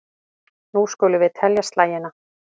Nú skulum við telja slagina.